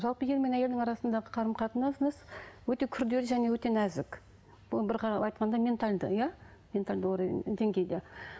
жалпы ер мен әйелдің арасындағы қарым қатынас өте күрделі және өте нәзік бұл бір қарап айтқанда ментальді иә ментальді уровень деңгейді